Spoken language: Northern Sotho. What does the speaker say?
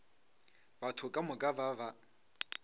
batho ka moka ba ba